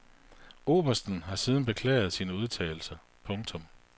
Obersten har siden beklaget sine udtalelser. punktum